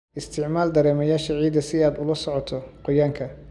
Isticmaal dareemayaasha ciidda si aad ula socoto qoyaanka.